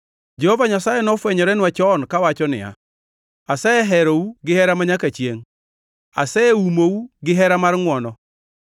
Jehova Nyasaye nofwenyorenwa chon, kawacho niya: “Aseherou gihera manyaka chiengʼ; aseomou gihera mar ngʼwono.